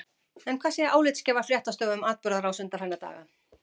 En hvað segja álitsgjafar fréttastofu um atburðarrás undanfarinna daga?